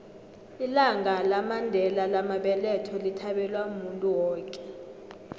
ilanga lamandela lamabeletho lithabelwa muntu woke